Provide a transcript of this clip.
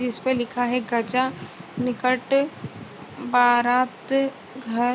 इसपे लिखा है गजा निकट बारात घर।